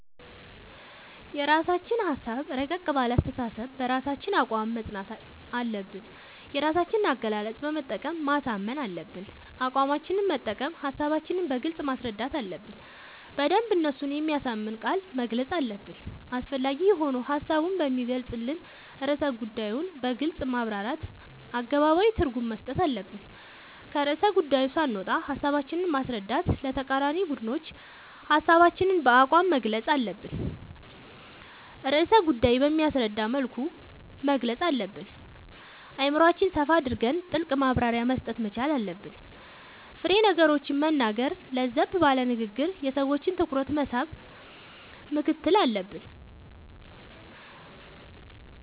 የራስችን ሀሳብ እረቀቅ ባለ አስተሳሰብ በራሳችን አቋም መፅናት አለብን የራሳችን አገላለፅ በመጠቀም ማሳመን አለብን አቋማችን መጠቀም ሀሳባችን በግልጽ ማስረዳት አለብን በደንብ እነሱን በሚያሳምን ቃላት መግለፅ አለብን አስፈላጊ የሆኑ ሀሳቡን በሚገልፅን ርዕሰ ጉዳዮን በግልፅ ማብራራት አገባባዊ ትርጉም መስጠት አለብን። ከርዕሰ ጉዳዪ ሳንወጣ ሀሳባችን ማስረዳት ለተቃራኒ ቡድኖች ሀሳባችን በአቋም መግልፅ አለብን ርዕሰ ጉዳይ በሚያስረዳ መልኩ መግለፅ አለብን አእምሮአችን ሰፋ አድርገን ጥልቅ ማብራሪያ መስጠት መቻል አለብን። ፋሬ ነገሮችን መናገር ለዘብ ባለ ንግግር የሰዎችን ትኩረት መሳብ ምክትል አለብን።…ተጨማሪ ይመልከቱ